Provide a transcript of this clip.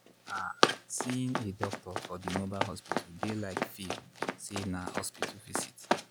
ah seeing a doctor for di mobile hospital dey like feel say na hospital visit.